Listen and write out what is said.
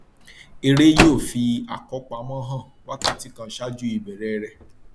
eré yóò fi àkọpamọ hàn wákàtí kan ṣáájú ìbẹrẹ rẹ